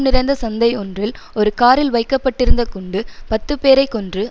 நிறைந்த சந்தை ஒன்றில் ஒரு காரில் வைக்க பட்டிருந்த குண்டு பத்து பேரை கொன்று